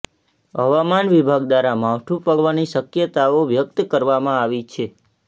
હવામાન વિભાગ દ્વારા માવઠું પડવાની શક્યતાઓ વ્યક્ત કરવામાં આવી છે